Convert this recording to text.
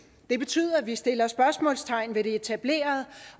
det betyder at vi sætter spørgsmålstegn ved det etablerede